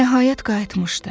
Nəhayət qayıtmışdı.